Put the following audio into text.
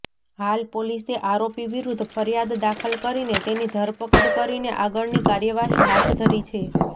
હાલ પોલીસે આરોપી વિરૂદ્ધ ફરિયાદ દાખલ કરીને તેની ધરપકડ કરીને આગળની કાર્યવાહી હાથ ધરી છે